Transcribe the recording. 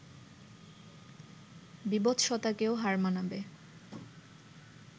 বীভৎসতাকেও হার মানাবে